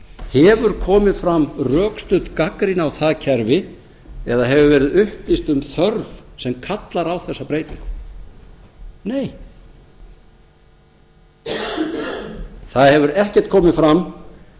hefur komið fram rökstudd gagnrýni á það kerfi eða hefur verið upplýst um þörf sem kallar á þessa breytingu nei það hefur ekkert komið fram